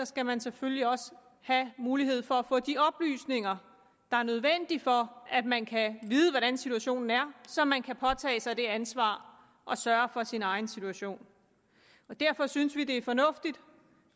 skal man selvfølgelig også have mulighed for at få de oplysninger der er nødvendige for at man kan vide hvordan situationen er så man kan påtage sig det ansvar at sørge for sin egen situation derfor synes vi det er fornuftigt